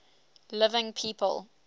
living people